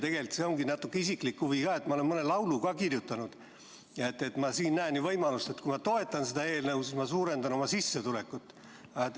Tegelikult see ongi natuke isiklik huvi, sest ma olen mõne laulu ka kirjutanud ja ma näen siinkohal võimalust, et kui ma toetan seda eelnõu, siis ma suurendan oma sissetulekut.